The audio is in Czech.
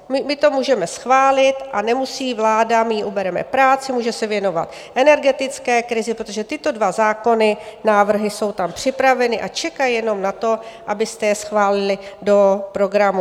My to můžeme schválit a nemusí vláda - my jí ubereme práci, může se věnovat energetické krizi, protože tyto dva zákony, návrhy jsou tam připraveny, a čekají jenom na to, abyste je schválili do programu.